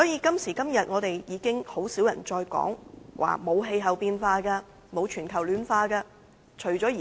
今時今日甚少人會再說沒有氣候變化和全球暖化的問題。